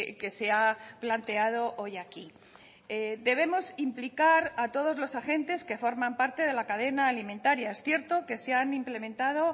que se ha planteado hoy aquí debemos implicar a todos los agentes que forman parte de la cadena alimentaria es cierto que se han implementado